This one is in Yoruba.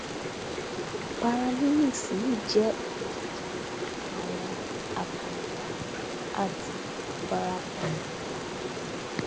paralimpics yìí jẹ ìdíje àwọn àkàndá àti abarapa ẹdá